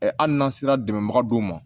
hali n'an sera dɛmɛbaga dɔw ma